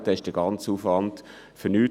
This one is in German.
Dann war der ganze Aufwand umsonst.